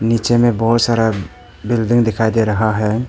नीचे में बहुत सारा बिल्डिंग दिखाई दे रहा है।